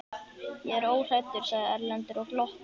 Ég er óhræddur, sagði Erlendur og glotti.